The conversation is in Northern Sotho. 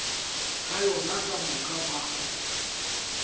ka yona ka moka ba